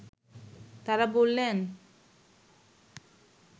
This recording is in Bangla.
তারা বললেন